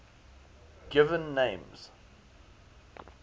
given names